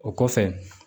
O kɔfɛ